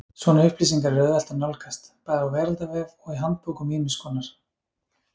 Svona upplýsingar er auðvelt að nálgast, bæði á veraldarvef og í handbókum ýmiss konar.